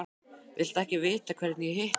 Viltu ekki vita hvernig ég hitti hann?